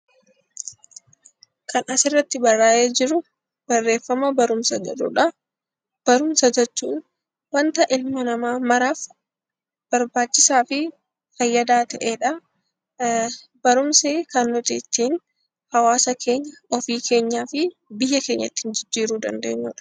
Kan asirratti barraa'ee jiru barreeffama barumsa jedhudha. Barumsa jechuun waanta ilma namaa maraaf barbaachisaa fi fayyadaa ta'edha. Barumsi kan nuti ittiin hawaasa keenya, ofii keenyaa fi biyya keenya ittiin jijjiiruu dandeenyudha.